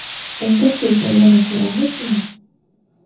Unda Sizni yana ko‘ramizmi?